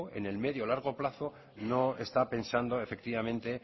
en el medio o largo plazo no está pensando efectivamente